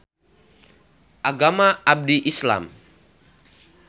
Agama abdi Islam.